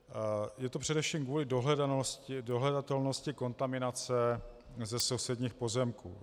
Je to především kvůli dohledatelnosti kontaminace ze sousedních pozemků.